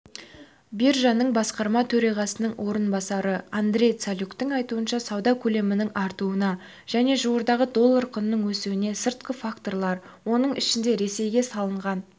биржаның басқарма төрағасының орынбасары андрей цалюктың айтуынша сауда көлемінің артуына және жуырдағы доллар құнының өсуіне сыртқы факторлар оның ішінде ресейге салынған